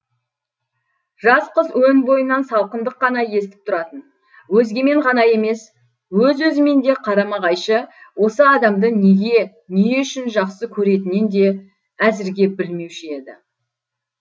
жас қыз өн бойынан салқындық қана естіп тұратын өзгемен ғана емес өз өзімен де қарама қайшы осы адамды неге не үшін жақсы көретінен де әзірге білмеуші еді